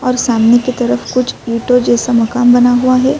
اور سامنے کی طرف کچھ اتو جیسا مکان بنا ہوا ہے۔ اور سامنے کی طرف کچھ اتو جیسا مکان بنا ہوا ہے۔